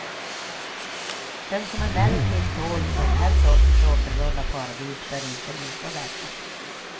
Den som emellertid tål den här sortens återvunna paradis bör inte missa detta.